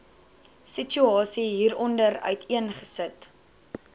situasie hieronder uiteengesit